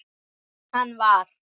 Hann var.